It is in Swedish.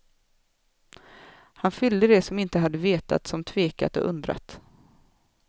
Han fyllde det som inte hade vetat, som tvekat och undrat.